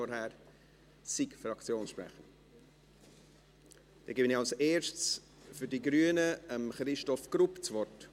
Ich erteile als Erstes für die Grünen Christoph Grupp das Wort.